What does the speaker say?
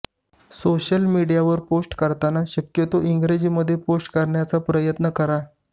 social मीडियावर post करताना शक्यतो इंग्रजीमध्ये पोस्ट करण्याचा प्रयत्न करा